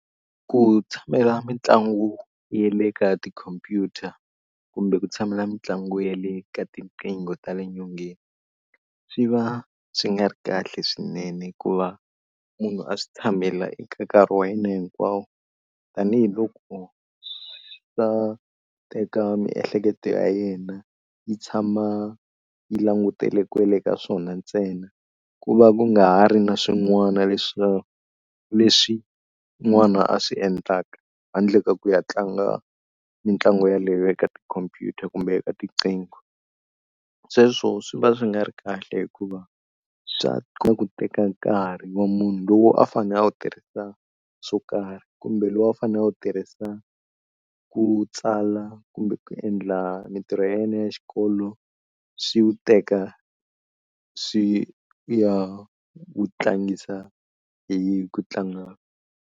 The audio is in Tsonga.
Ku tshamela mitlangu ya le ka tikhompyuta kumbe ku tshamela mitlangu ya le ka tinqingho ta le nyongeni, swi va swi nga ri kahle swinene hikuva munhu a swi tshamela eka nkarhi wa yena hinkwawo. Tanihi loko swi ta teka miehleketo ya yena yi tshama yi langutele kwele ka swona ntsena, ku va ku nga ha ri na swin'wana leswi n'wana a swi endlaka handle ka ku ya tlanga mitlangu yeleyo eka tikhompyuta kumbe eka tinqingho. Sweswo swi va swi nga ri kahle hikuva swa kota ku teka nkarhi wa munhu lowu a fanele a wu tirhisa swo karhi kumbe loko u fanele u tirhisa ku tsala kumbe ku endla mitirho ya yena ya xikolo, swi wu teka swi ya wu tlangisa hi ku tlanga.